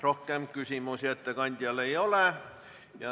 Rohkem küsimusi ettekandjale ei ole.